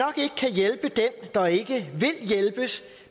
hjælpe dem der ikke vil hjælpes